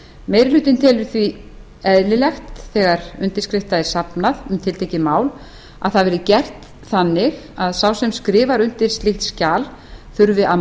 meiri hlutinn telur því eðlilegt þegar undirskriftum er safnað um tiltekið mál að það verði gert þannig að sá sem skrifar undir slíkt skjal þurfi að